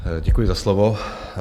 Děkuji za slovo.